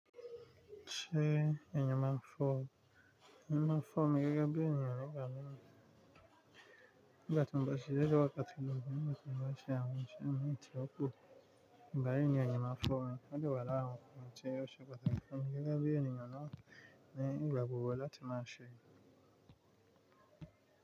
Ṣé ẹyin máa ń fọ́o? Ẹyin máa ń fọ́ mi gẹ́gẹ́ bí èèyàn ńígbà míì. Nígbà tí mo bá ṣiṣẹ́ dé wákàtí mi, àbí nígbà tí mo bá ṣe àwọn iṣẹ́ mìí tí ó pọ̀, ìgbà yìí ni ẹyin máa fọ́ mìí, ó dẹ̀ wà ní ara àwọn ǹkan tí ó ṣe pàtàkì fún mi gẹ́gẹ́ bí ẹniyan náà ní ìgbà gbogbo láti máa ṣe.